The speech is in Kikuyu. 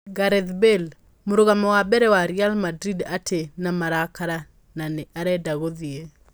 Gareth Bale: Mũrũgamo wa mbere wa Real Madrid arĩ na 'marakara' na nĩ arenda gũthiĩ